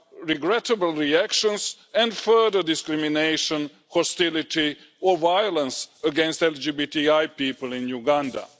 regrettable reactions and further discrimination, hostility or violence against LGBTI people in Uganda.